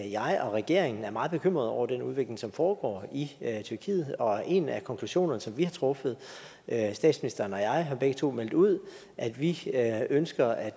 jeg og regeringen er meget bekymrede over den udvikling som foregår i tyrkiet og en af konklusionerne som vi har truffet er at statsministeren og jeg begge to har meldt ud at vi ønsker at